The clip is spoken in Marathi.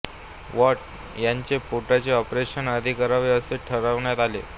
वॉल्ट यांचे पोटाचे ऑपरेशन आधी करावे असे ठरविण्यात आले